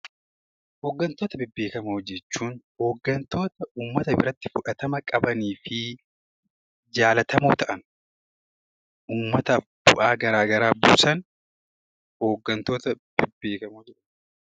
Hoggantoota bebbeekamoo jechuun hoggantoota uummata biratti fudhatama qabanii fi jaallatamoo ta'an, uummataaf bu'aa gara garaa buusan Hoggantoota bebbeekamoo jennaan.